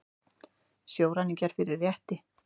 Sjóræningjar fyrir rétti